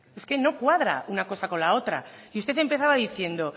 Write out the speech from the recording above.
es que no cuadra una cosa con la otra y usted empezaba diciendo